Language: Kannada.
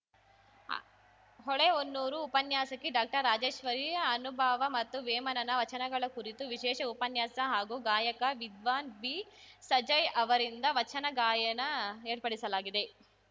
ಹೊಳೆಹೊನ್ನೂರು ಉಪನ್ಯಾಸಕಿ ಡಾಕ್ಟರ್ರಾಜೇಶ್ವರಿ ಅನುಭಾವ ಮತ್ತು ವೇಮನನ ವಚನಗಳ ಕುರಿತು ವಿಶೇಷ ಉಪನ್ಯಾಸ ಹಾಗೂ ಗಾಯಕ ವಿದ್ವಾನ್‌ ಬಿ ಸಜಯ್‌ಅವರಿಂದ ವಚನ ಗಾಯನ ಏರ್ಪಡಿಸಲಾಗಿದೆ